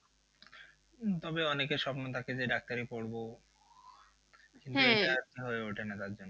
তবে অনেকের স্বপ্ন থাকে যে ডাক্তারি পড়বো হয়ে ওঠে না তার জন্য